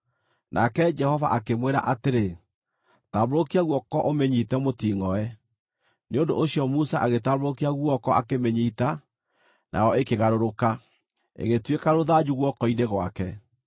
Nake Jehova akĩmwĩra atĩrĩ, “Tambũrũkia guoko ũmĩnyiite mũtingʼoe.” Nĩ ũndũ ũcio Musa agĩtambũrũkia guoko akĩmĩnyiita, nayo ĩkĩgarũrũka, ĩgĩtuĩka rũthanju guoko-inĩ gwake.